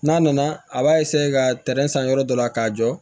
N'a nana a b'a ka tɛrɛn san yɔrɔ dɔ la k'a jɔ